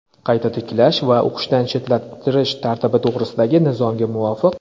qayta tiklash va o‘qishdan chetlashtirish tartibi to‘g‘risidagi Nizomga muvofiq:.